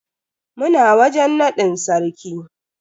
Muna wajen nadin sarki.